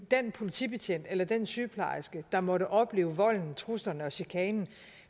den politibetjent eller den sygeplejerske der måtte opleve volden truslerne og chikanen